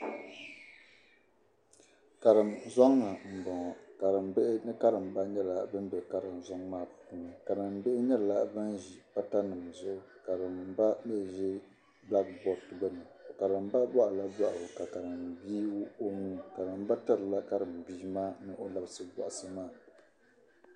Kariŋ zɔŋni n bɔŋɔ, bihi ni karimba nyɛla ban be kariŋ zɔŋ maa puuni karim bihi nyɛla ban ʒi patanim zuɣu ka karimba mi zi blame boad gbuni, karimba gbaaila dɔɣi ka karimbihi wuɣi ɔnuu, karimba tirila karimbihi ni labisi bɔhisi maa,